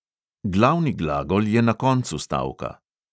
Glavni glagol je na koncu stavka.